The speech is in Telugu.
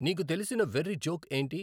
నీకు తెలిసిన వెర్రి జోక్ ఏంటి